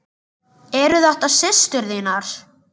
Eru þetta systur þínar?